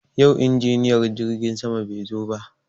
Yau injiniyan jirgin sama bai zo ba.